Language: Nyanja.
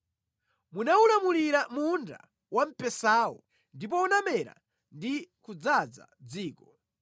Munawulimira munda wamphesawo, ndipo unamera ndi kudzaza dziko.